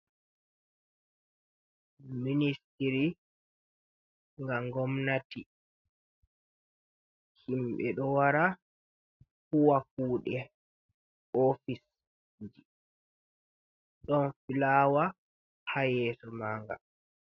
Ministiri nga ngomnati, himɓe ɗo wara, huuwa kuuɗe ofisji, ɗon filawa haa yeeso maaga.